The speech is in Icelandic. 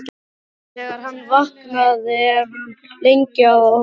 Þegar hann vaknar er hann lengi að opna augun.